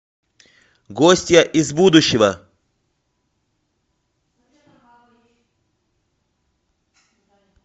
гостья из будущего